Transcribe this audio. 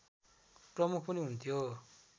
प्रमुख पनि हुन्थ्यो